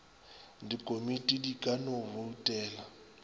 dikomiti di ka no boutela